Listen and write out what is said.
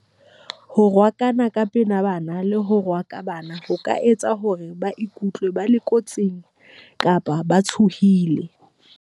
Ho rohakana ka pela bana le ho rohaka bana ho ka etsa hore ba ikutlwe ba le kotsing kapa ba tshohile.